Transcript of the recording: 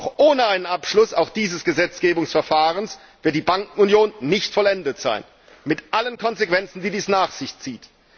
Doch ohne einen Abschluss auch dieses Gesetzgebungsverfahrens wird die Bankenunion nicht vollendet sein mit allen Konsequenzen, die dies nach sich zieht.